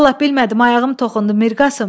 Vallahi bilmədim, ayağım toxundu, Mirqasım.